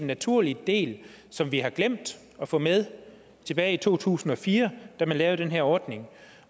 naturlig del som vi har glemt at få med tilbage i to tusind og fire da man lavede den her ordning